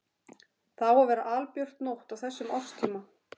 Það á að vera albjört nótt á þessum árstíma.